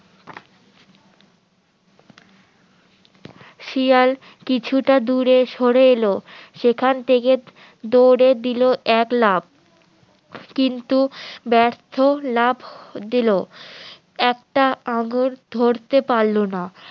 শিয়াল কিছুটা দূরে সরে এল সেখান থেকে দৌড়ে দিলো এক লাফ কিন্তু ব্যর্থ লাফ দিলো একটা আঙ্গুর ধরতে পারলো না